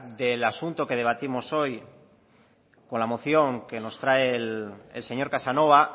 del asunto que debatimos hoy con la moción que nos trae el señor casanova